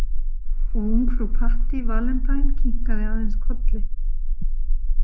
Og ungfrú Patty Valentine kinkaði aðeins kolli.